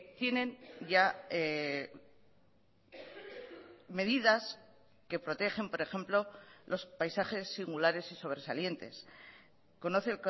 tienen ya medidas que protegen por ejemplo los paisajes singulares y sobresalientes conoce